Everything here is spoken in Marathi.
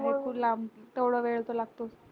भरपूर लांब तेवढा वेळ तर लागतो